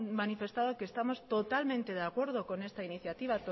manifestado que estamos totalmente de acuerdo con esta iniciativa